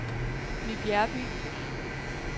Ny Bjerreby